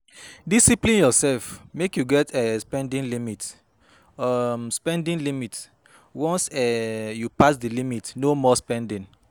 Discipline urself mek yu get um spending limit, um spending limit, once um yu pass di limit no more spending